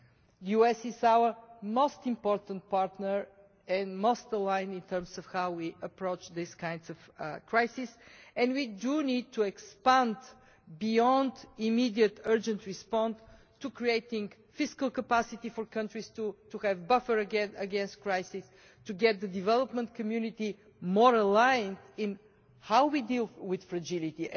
The US is our most important partner and the most aligned in terms of how we approach this kind of crisis, and we need to expand beyond an immediate urgent response to creating fiscal capacity for countries to have a buffer against crises, to get the development community more aligned in how we deal with fragility.